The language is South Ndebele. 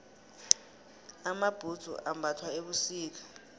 amabhudzu ambathwa ebusika